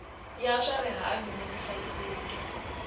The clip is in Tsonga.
ya swa rihanyu ni vuhlayiseki